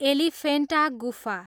एलिफेन्टा गुफा